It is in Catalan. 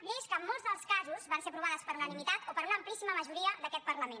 lleis que en molts dels casos van ser aprovades per unanimitat o per una amplíssima majoria d’aquest parlament